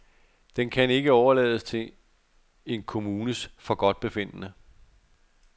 Den kan ikke overlades til en kommunes forgodtbefindende.